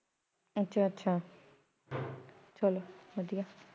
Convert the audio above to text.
ਅੱਛਾ ਅੱਛਾ ਚਲੋ ਵਧੀਆਂ।